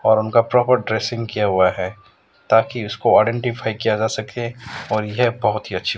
और उनका proper dressing किया हुआ है ताकि उसको आईडेंटिफाई किया जा सके और यह बहुत ही अच्छी--